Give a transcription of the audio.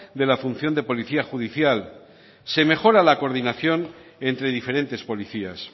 de la función de política judicial se mejora la coordinación entre diferentes policías